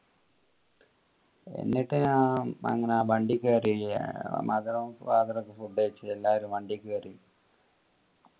എന്നിട്ട് ഞാൻ അങ്ങനെ വണ്ടി കയറി mother ഉം father ഒക്കെ food കഴിച്ചിട്ട് എല്ലാരു വണ്ടി കേറി